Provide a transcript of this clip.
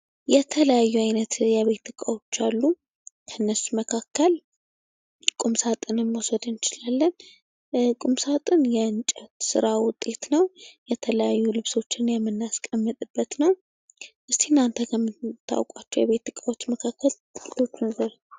የተለያዩ አይነት የቤት እቃዎች አሉ ። ከእነሱ መካከል ቁምሳጥንን መውሰድ እንችላለን ። ቁምሳጥን የእንጨት ስራ ውጤት ነው ። የተለያዩ ልብሶችን የምናስቀምጥበት ነው ። እስኪ እናንተ ከምታውቁዋቸው የቤት ዕቃዎች መካከል ጥቂቶችን ዝርዝሩ ?